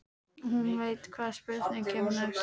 Hún veit hvaða spurning kemur næst.